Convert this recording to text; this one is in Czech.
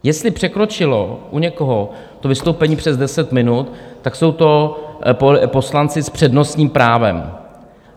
Jestli překročilo u někoho to vystoupení přes 10 minut, tak jsou to poslanci s přednostním právem.